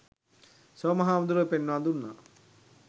සෝම හාමුදුරුවෝ පෙන්වා දුන්නා.